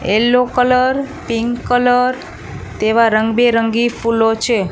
Yellow colour pink colour તેવા રંગ બેરંગી ફૂલો છે.